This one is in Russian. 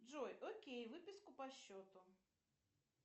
джой окей выписку по счету